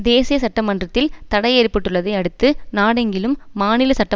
தேசிய சட்டமன்றத்தில் தடை ஏற்பட்டுள்ளதை அடுத்து நாடெங்கிலும் மாநில சட்ட